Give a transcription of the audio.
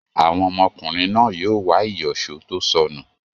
Àwọn ọmọkùnrin náà yóò wá ìyọ̀ṣó tó sọnù.